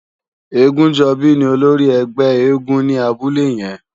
Egunjobi ni ólórì ègbè éègúùn ni àbúlé yèn